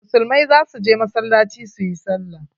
Musulmai za su je masallaci su yi sallah.